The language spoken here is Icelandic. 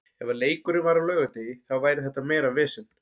Ef að leikurinn væri á laugardegi þá væri þetta meira vesen.